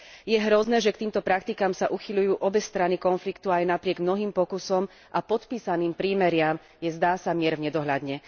Je hrozné, že k týmto praktikám sa uchyľujú obe strany konfliktu a aj napriek mnohým pokusom a podpísaným prímeriam je, zdá sa, mier v nedohľadne.